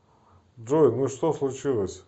джой ну что случилось